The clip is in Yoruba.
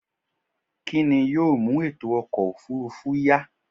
kí ni yóò mú ètò ọkọ̀ òfurufú yá?